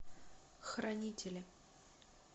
хранители